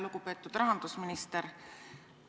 Lugupeetud rahandusminister!